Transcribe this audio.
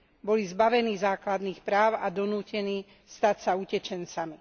Boli zbavení základných práv a donútení stať sa utečencami.